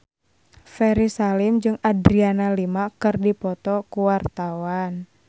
Ferry Salim jeung Adriana Lima keur dipoto ku wartawan